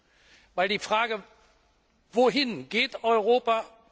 Denn die Frage Wohin geht Europa?